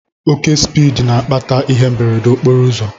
Oke spiidi n'akpata ihe mberede nke okporoụzọ